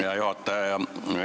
Hea juhataja!